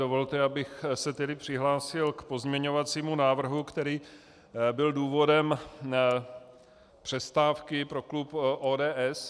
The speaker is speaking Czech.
Dovolte, abych se tedy přihlásil k pozměňovacímu návrhu, který byl důvodem přestávky pro klub ODS.